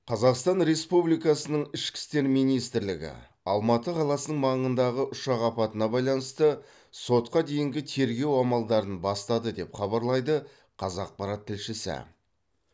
қазақстан республикасының ішкі істер министрлігі алматы қаласының маңындағы ұшақ апатына байланысты сотқа дейінгі тергеу амалдарын бастады деп хабарлайды қазақпарат тілшісі